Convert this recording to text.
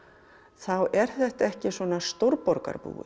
þá er þetta ekki svona